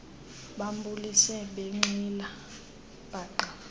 bambulise benxile paqa